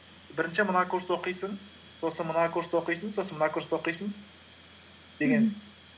бірінші мына курсты оқисың сосын мына курсты оқисың сосын мына курсты оқисың